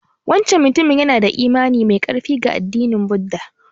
Wancan mutumin yana da imani mai ƙarfi ga addinin Buddha.